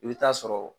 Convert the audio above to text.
I bɛ taa sɔrɔ